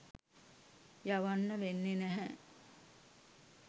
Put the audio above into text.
යවන්න වෙන්නේ නැහැ.